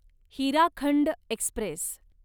Hirakhand Express